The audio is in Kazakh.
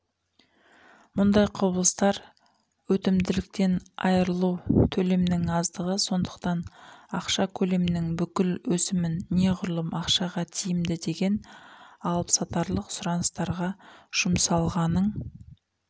мұндай құбылыстар өтімділіктен айырылу төлемнің аздығы сондықтан ақша көлемінің бүкіл өсімін неғұрлым ақшаға тиімді деген алыпсатарлық сұраныстарға жұмсалғаның